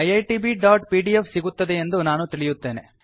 iitbಪಿಡಿಎಫ್ ಸಿಗುತ್ತದೆಯೆಂದು ನಾನು ತಿಳಿಯುತ್ತೇನೆ